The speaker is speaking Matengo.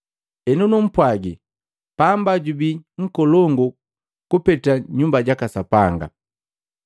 Henu numpwagi, pamba jubii jojubii nkolongu kupete Nyumba jaka Sapanga.